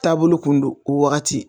Taabolo kun don o wagati